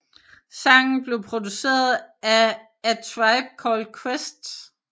Sangen blev produceret af A Tribe Called Quest